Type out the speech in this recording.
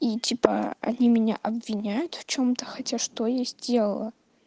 и типа они меня обвиняют в чем-то хотя что я сделала